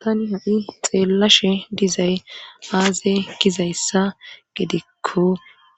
tanni ha7i xeellashe dizay aaze gizayssa gedekko